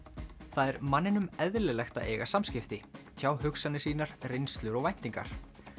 það er manninum eðlilegt að eiga samskipti tjá hugsanir sínar reynslu og væntingar